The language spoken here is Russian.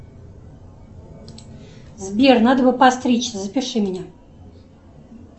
сбер надо бы подстричься запиши меня